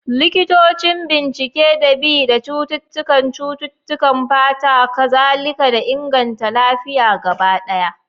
Likitocin bincike da bi da cututtukan cututtukan fata, kazalika da inganta lafiya gaba daya.